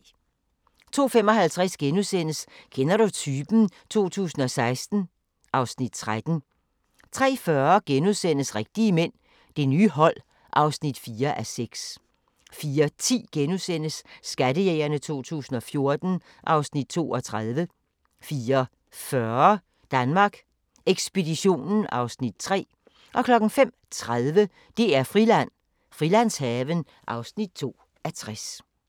02:55: Kender du typen? 2016 (Afs. 13)* 03:40: Rigtige mænd – Det nye hold (4:6)* 04:10: Skattejægerne 2014 (Afs. 32)* 04:40: Danmark Ekspeditionen (Afs. 3)* 05:30: DR-Friland: Frilandshaven (2:60)